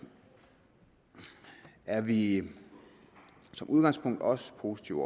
er vi som udgangspunkt også positivt